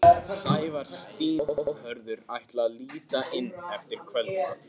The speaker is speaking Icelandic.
Sævar, Stína og Hörður ætla að líta inn eftir kvöldmat.